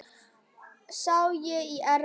Sá í Efra.